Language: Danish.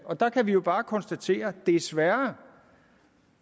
og der kan vi jo bare konstatere desværre